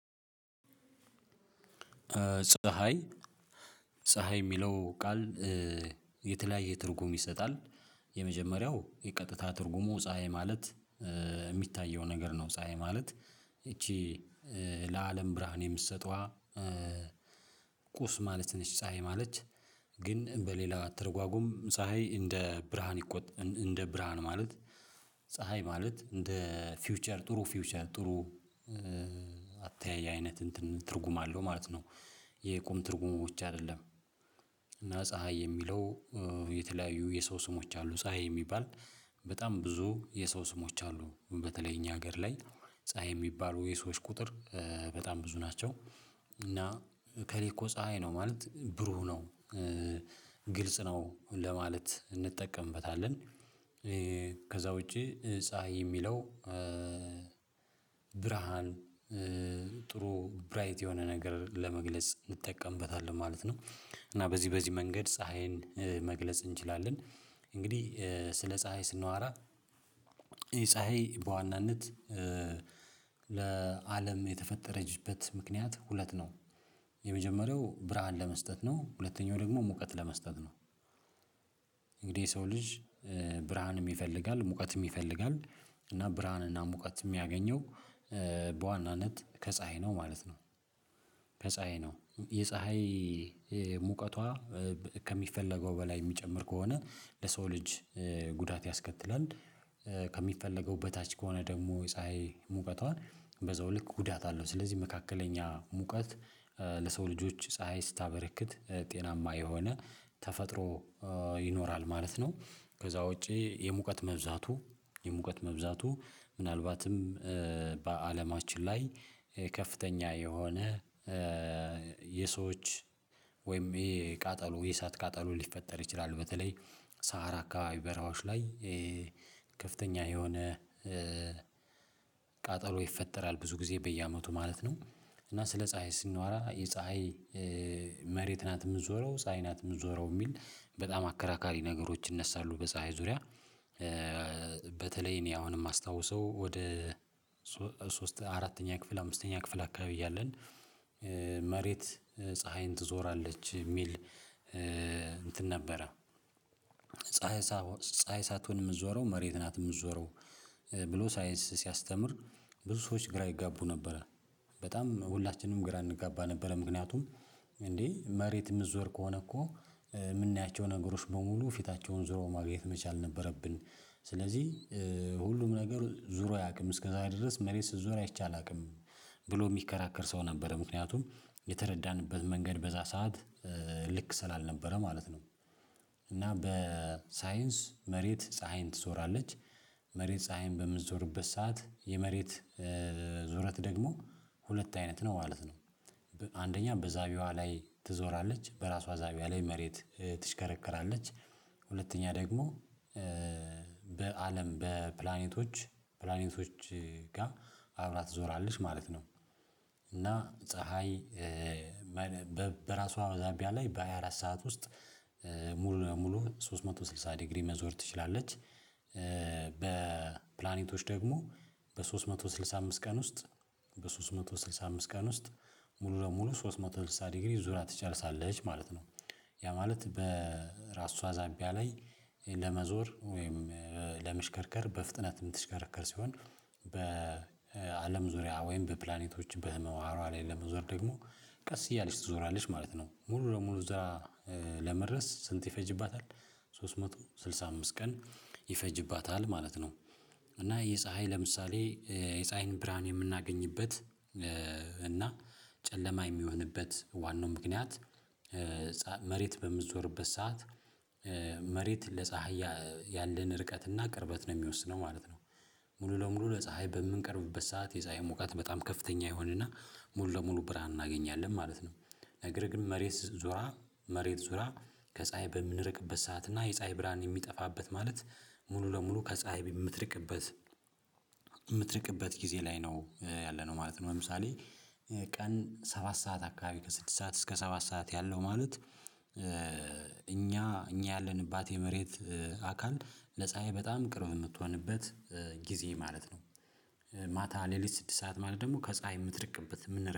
ፀሀይ ፀሀይ የሚለው ቃል የተለያየ ትርጉም ይሰጣል። የመጀመሪያው የቀጥታ ትርጉሙ ፀሀይ ማለት የሚታየው ነገር ነው ፀሀይ ማለት ይቺ ለአለም ብርሃን የምትሰጠዋ ቁስ ማለት ነች። ፀሀይ ማለት ግን በሌላ አትርጓጉም ፀሀይ እንደ ብርሃን እንደ ብርሃን ማለት ፀሀይ ማለት እንደ ፊውቸር ጥሩ ፊውቸር ጥሩ አተያይ አይነት እንትን አለው ማለት ነው። የቁም ትርጉሞች አይደለም። እና ፀሀይ የሚለው የተለያዩ የሰው ስሞች አሉ ፀሀይ የሚባል በጣም ብዙ የሰው ስሞች አሉ በተለይ እኛ ሀገር ላይ ፀሀይ የሚባሉ የሰዎች ቁጥር በጣም ብዙ ናቸው። እና ከሌለ እኮ ፀሀይ ነው ማለት ብሩህ ነው ግልጽ ነው ለማለት እንጠቀምበታለን። ከዛ ውጪ ፀሀይ የሚለው ብርሃን ጥሩ ብራይት የሆነ ነገር ለመግለጽ እንጠቀምበታለን ማለት ነው። እና በዚህ በዚህ መንገድ ፀሀይን መግለጽ እንችላለን። እንግዲህ ስለ ፀሀይ ስናወራ ፀሀይ በዋናነት ለአለም የተፈጠረችበት ምክንያት ሁለት ነው። የመጀመሪያው ብርሃን ለመስጠት ነው ሁለተኛው ደግሞ ሙቀት ለመስጠት ነው። እንግዲህ የሰው ልጅ ብርሃን ይፈልጋል ሙቀትም ይፈልጋል እና ብርሃንና ሙቀት የሚያገኘው በዋናነት ከፀሀይ ነው ማለት ነው። ከፀሀይ ነው የፀሀይ ሙቀቷ ከሚፈለገው በላይ የሚጨምር ከሆነ ለሰው ልጅ ጉዳት ያስከትላል። ከሚፈለገው በታች ከሆነ ደግሞ ፀሀይ ሙቀቷ በዛው ልክ ጉዳት አለው ስለዚህ መካከለኛ ሙቀት ለሰው ልጆች ፀሀይ ስታበረክት ጤናማ የሆነ ተፈጥሮ ይኖራል ማለት ነው። ከዛ ውጪ የሙቀት መብዛቱ የሙቀት መብዛቱ ምናልባትም በአለማችን ላይ ከፍተኛ የሆነ የሰዎች ወይም የቃጠሉ የእሳት ቃጠሉ ሊፈጠር ይችላሉ በተለይ ሳሃራ አካባቢ በራዎች ላይ ከፍተኛ የሆነ ቃጠሎ ይፈጠራል ብዙ ጊዜ በየአመቱ ማለት ነው። እና ስለ ፀሀይ ስንዋራ የፀሀይ መሬት ናት የምንዞረው ፀሀይ ናት የምትዞረው የሚል በጣም አከራካሪ ነገሮች ይነሳሉ በፀሀይ ዙሪያ። በተለይ እኔ አሁን የማስታውሰው ወደ ሶስት አራተኛ ክፍል አምስተኛ ክፍል አካባቢ እያለን መሬት ፀሀይን ትዞራለች የሚል እንትን ነበረ ፀሀይ ሳትሆን የምትዞረው መሬት ናት የምትዞረው ብሎ ሳይንስ ሲያስተምር ብዙ ሰዎች ግራ ይጋቡ ነበረ። በጣም ሁላችንም ግራ እንጋባ ነበረ ምክንያቱም እንዴ መሬት የምትዞር ከሆነ እኮ የምናያቸው ነገሮች በሙሉ ፊታቸውን ዞሮ ማግኘት መቻል ነበረብን። ስለዚህ ሁሉም ነገር ዞሮ አያውቅም እስከዛ ድረስ መሬት ስትዞር አይቼ አላውቅም። ብሎ የሚከራከር ሰው ነበረ ምክንያቱም የተረዳንበት መንገድ በዛ ሰዓት ልክ ስላልነበረ ማለት ነው። እና በሳይንስ መሬት ፀሀይን ትዞራለች መሬት ፀሀይን በምትዞርበት ሰዓት የመሬት ዞረት ደግሞ ሁለት አይነት ነው ማለት ነው። አንደኛ በዛቢዋ ላይ ትዞራለች በራሷ አዛቢያ ላይ መሬት ትሽከረከራለች ሁለተኛ ደግሞ በአለም በፕላኔቶች ፕላኔቶች ጋር አብራ ትዞራለች ማለት ነው። እና ፀሀይ በራሷ ዛቢያ ላይ በሃያ አራት ሰዓት ውስጥ ሙሉ ለሙሉ ሶስት መቶ ስልሳ ዲግሪ መዞር ትችላለች። በፕላኔቶች ደግሞ በሶስት መቶ ስልሳ አምስት ቀን ውስጥ በሶስት መቶ ስልሳ አምስት ቀን ውስጥ ሙሉ ለሙሉ ሶስት መቶ ስልሳ ዲግሪ ዙራ ትጨርሳለች ማለት ነው። ያ ማለት በራሷ ዛቢያ ላይ ለመዞር ወይም ለምሽከርከር በፍጥነት የምትሽከረከር ሲሆን በአለም ዙሪያ ወይም በፕላኔቶች በህመም አሯ ላይ ለመዞር ደግሞ ቀስ እያለች ትዞራለች ማለት ነው ሙሉ ለሙሉ እዛ ለመድረስ ስንት ይፈጅባታል? ሶስት መቶ ስልሳ አምስት ቀን ይፈጅባታል ማለት ነው። እና የፀሀይ ለምሳሌ የፀሀይን ብርሃን የምናገኝበት እና ጨለማ የሚሆንበት ዋናው ምክንያት መሬት በምትዞርበት ሰዓት መሬት ለፀሀይ ያንድን ርቀትና ቅርበት ነው የሚወስነው ማለት ነው። ሙሉ ለሙሉ ለፀሀይ በምንቀርብበት ሰዓት የፀሀይ ሙቀት በጣም ከፍተኛ ይሆንና ሙሉ ለሙሉ ብርሃን እናገኛለን ማለት ነው። ነገር ግን መሬት ዞራ መሬት ዞራ ከፀሀይ በምንርቅበት ሰዓት እና የፀሀይ ብርሃን የሚጠፋበት ማለት ሙሉ ለሙሉ ከፀሀይ የምትርቅበት የምትርቅበት ጊዜ ላይ ነው ያለነው ማለት ነው። ለምሳሌ ቀን ሰባት ሰዓት አካባቢ ከስድስት ሰዓት እስከ ሰባት ሰዓት ያለው ማለት እኛ እኛ ያለንባት የመሬት አካል ለፀሀይ በጣም ቅርም የምትሆንበት ጊዜ ማለት ነው። ማታ ሌሊት ስድስት ሰዓት ማለት ደግሞ ከፀሀይ የምትርቅበት የምንረቅበት